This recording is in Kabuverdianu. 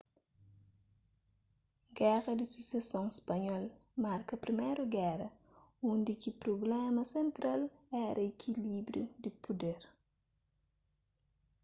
géra di suseson spanhol marka priméru géra undi ki prubléma sentral éra ikilíbriu di puder